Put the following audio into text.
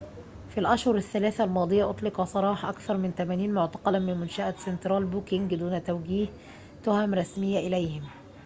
في الأشهر الثلاثة الماضية أطلق سراح أكثر من 80 معتقلاً من منشأة سنترال بوكنج دون توجيه تهم رسمية إليهم